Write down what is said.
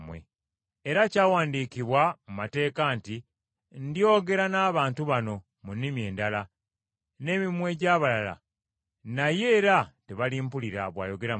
Era kyawandiikibwa mu mateeka nti, “Ndyogera n’abantu bano mu nnimi endala, n’emimwa egy’abalala, naye era tebalimpulira, bw’ayogera Mukama.”